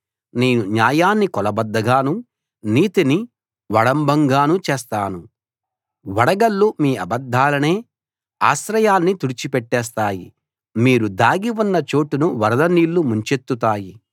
నేను న్యాయాన్ని కొలబద్దగానూ నీతిని ఒడంబంగానూ చేస్తాను వడగళ్ళు మీ అబద్దాలనే ఆశ్రయాన్ని తుడిచి పెట్టేస్తాయి మీరు దాగి ఉన్న చోటును వరద నీళ్ళు ముంచెత్తుతాయి